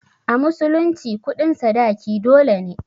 A musulunci kuɗin sadaki dole ne.